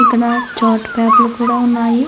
ఇక్కడ చాట్ పేపర్లు కూడా ఉన్నాయి.